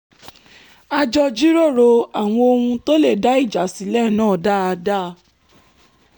a jọ jíròrò àwọn ohun tó lè dá ìjà sílẹ̀ náà dáadáa